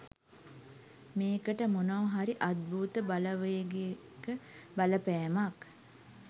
මේකට මොනවා හරි අත්භූත බලවේගෙක බලපෑමක්